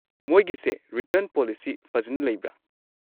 ꯃꯣꯏꯒꯤꯁꯦ return policy ꯐꯖꯟꯅ ꯂꯩꯕ꯭ꯔꯥ?